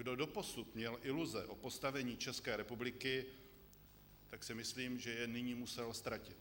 Kdo doposud měl iluze o postavení České republiky, tak si myslím, že je nyní musel ztratit.